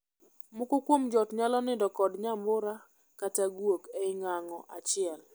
Moko kuom joot nyalo nindo kod nyambura kata guok e ng'ango achiel.